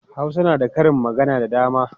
Hausa na da karin magana da dama.